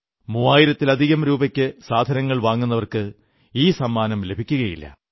മൂവായിരത്തിലധികം രൂപയ്ക്ക് സാധനങ്ങൾ വാങ്ങുന്നവർക്ക് ഈ സമ്മാനം ലഭിക്കുകയില്ല